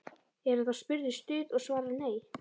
Er hann þá spurður Stuð? og svarar: Nei.